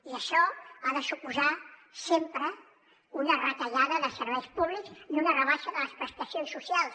i això ha de suposar sempre una retallada de serveis públics i una rebaixa de les prestacions socials